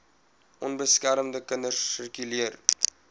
onbeskermde kinders sirkuleer